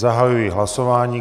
Zahajuji hlasování.